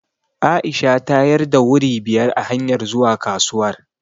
A'isha ta yarda da wuri biyar a hanyar zuwa kasuwar.